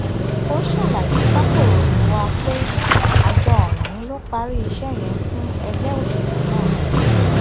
ó ṣàlàyé fàkòròyìn wa pé àjọ ọhún ló parí iṣẹ yẹn fún ẹgbẹ òṣèlú ná